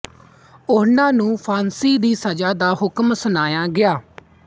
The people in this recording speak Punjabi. ਉਹਨਾਂ ਨੂੰ ਫ਼ਾਂਸੀ ਦੀ ਸਜ਼ਾ ਦਾ ਹੁਕਮ ਸੁਣਾਇਆ ਗਿਆ